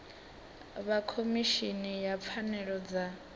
vha khomishini ya pfanelo dza